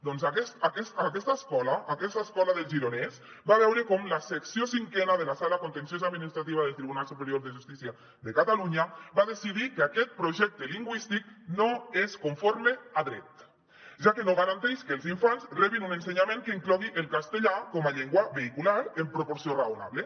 doncs aquesta escola del gironès va veure com la secció cinquena de la sala contenciosa administrativa del tribunal superior de justícia de catalunya va decidir que aquest projecte lingüístic no és conforme a dret ja que no garanteix que els infants rebin un ensenyament que inclogui el castellà com a llengua vehicular en proporció raonable